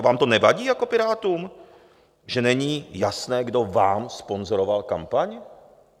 A vám to nevadí jako Pirátům, že není jasné, kdo vám sponzoroval kampaň?